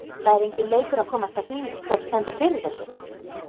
Það er enginn leikur að komast að því, hver stendur fyrir þessu.